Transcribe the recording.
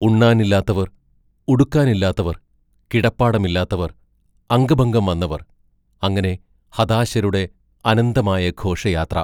ഉണ്ണാനില്ലാത്തവർ, ഉടുക്കാനില്ലാത്തവർ, കിടപ്പാടം ഇല്ലാത്തവർ, അംഗഭംഗം വന്നവർ അങ്ങനെ ഹതാശരുടെ അനന്തമായ ഘോഷയാത്ര....